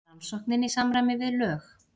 Rannsóknin í samræmi við lög